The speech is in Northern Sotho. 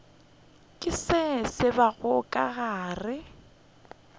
ke se tsebago ke gore